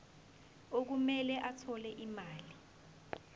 okumele athole imali